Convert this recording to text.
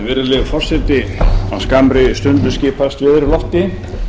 virðulegi forseti á skammri stundu skipast veður í lofti